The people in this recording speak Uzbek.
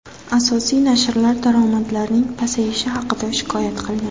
Asosiy nashrlar daromadlarning pasayishi haqida shikoyat qilgan.